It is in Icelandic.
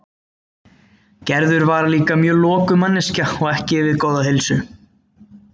Gerður var líka mjög lokuð manneskja og ekki við góða heilsu.